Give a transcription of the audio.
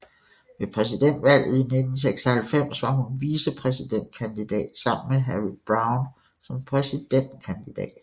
Ved præsidentvalget i 1996 var hun vicepræsidentkandidat sammen med Harry Browne som præsidentkandidat